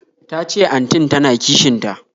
Tace antin ta na kishin ta